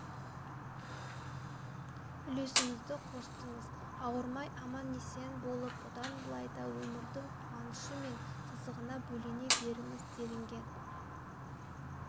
үлесіңізді қостыңыз ауырмай аман-есен болып бұдан былай да өмірдің қуанышы мен қызығына бөлене беріңіз делінген